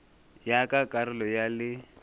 ya ka karolo ya le